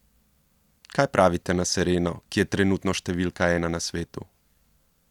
Kaj pravite na Sereno, ki je trenutno številka ena na svetu?